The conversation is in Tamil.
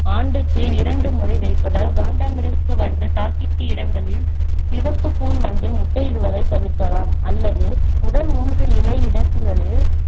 ஆண்டுக்கு இரண்டு முறை வைப்பதால் காண்டாமிருக வண்டு தாக்கிய இடங்களில் சிவப்பு கூன் வண்டு முட்டையிடுவதை தடுக்கலாம் அல்லது முதல் மூன்று இலை இடுக்குகளில்